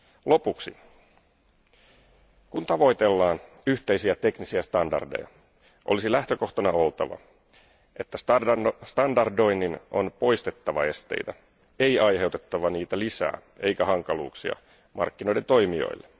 Lopuksi, kun tavoitellaan yhteisiä teknisiä standardeja, olisi lähtökohtana oltava, että standardoinnin on poistettava esteitä, ei aiheutettava niitä lisää eikä hankaluuksia markkinoiden toimijoille.